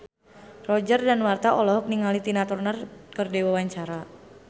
Roger Danuarta olohok ningali Tina Turner keur diwawancara